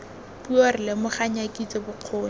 puo re lomaganya kitso bokgoni